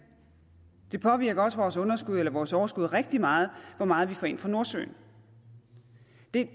det påvirker også vores underskud eller vores overskud rigtig meget hvor meget vi får ind fra nordsøen